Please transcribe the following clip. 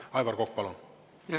Aivar Kokk, palun!